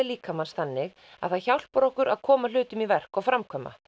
líkamans þannig að það hjálpar okkur að koma hlutum í verk og framkvæma